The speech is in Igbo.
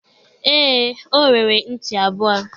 e, o nwere nti abua